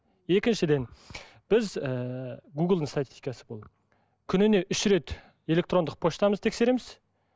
екіншіден біз ііі гуглдың статикасы бұл күніне үш рет электрондық поштамызды тексереміз